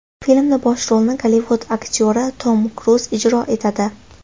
Filmda bosh rolni Gollivud aktyori Tom Kruz ijro etadi.